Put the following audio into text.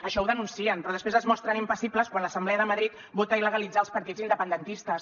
això ho denuncien però després es mostren impassibles quan l’assemblea de madrid vota illegalitzar els partits independentistes